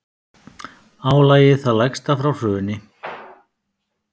Álagið það lægsta frá hruni